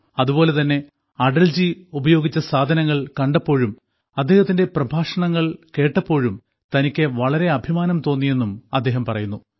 അതുപോലെ തന്നെ അടൽജി ഉപയോഗിച്ച സാധനങ്ങൾ കണ്ടപ്പോഴും അദ്ദേഹത്തിന്റെ പ്രഭാഷണങ്ങൾ കേട്ടപ്പോഴും തനിക്ക് വളരെ അഭിമാനം തോന്നിയെന്നും അദ്ദേഹം പറയുന്നു